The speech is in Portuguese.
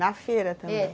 Na feira também, é.